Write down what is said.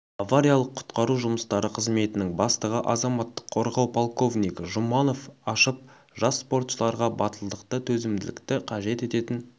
авариялық-құтқару жұмыстары қызметінің бастығы азаматтық қорғау полковнигі жұманов ашып жас спортшыларға батылдықты төзімділікті қажет ететін